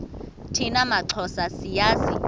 thina maxhosa siyazi